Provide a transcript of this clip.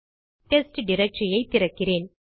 test directory திறக்கிறேன்